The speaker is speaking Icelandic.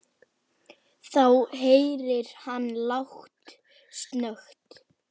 Þá heyrir hann lágt snökt.